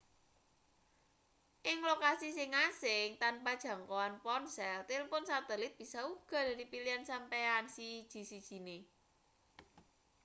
ing lokasi sing asing tanpa jangkoan ponsel tilpon satelit bisa uga dadi pilihan sampeyan siji-sijine